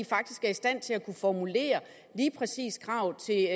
faktisk er i stand til at formulere lige præcis kravet til